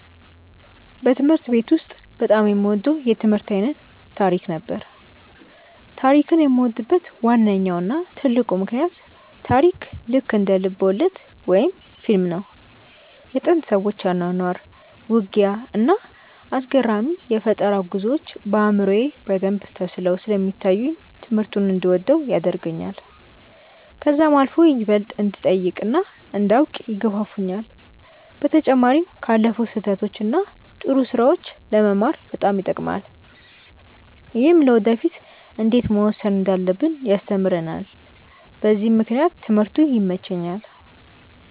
በትምህርት ቤት ውስጥ በጣም የምወደው የትምህርት አይነት ታሪክ ነበር። ታሪክን የምወድበት ዋነኛው እና ትልቁ ምክንያት ታሪክ ልክ እንደ ልብወለድ ወይም ፊልም ነው። የጥንት ሰዎች አኗኗር፣ ውጊያ፣ እና አስገራሚ የፈጠራ ጉዞዎች በአእምሮዬ በደንብ ተስለው ስለሚታዩኝ ትምህርቱን እንድወደው ያደርገኛል። ከዛም አልፎ ይበልጥ እንድጠይቅ እና እንዳውቅ ይገፋፋኛል። በተጨማሪም ካለፉት ስህተቶች እና ጥሩ ስራዎች ለመማር በጣም ይጠቅማል። ይህም ለወደፊ እንዴት መወሰን እንዳለብን ያስተምረናል በዚህም ምክንያት ትምህርቱ ይመቸኛል።